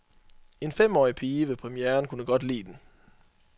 En femårig pige ved premieren kunne godt lide den.